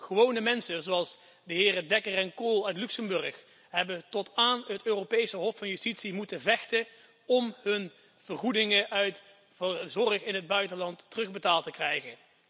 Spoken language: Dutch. Gewone mensen zoals de heren Decker en Kohll uit Luxemburg hebben tot aan het Europees Hof van Justitie moeten vechten om hun kosten voor zorg in het buitenland terugbetaald te krijgen.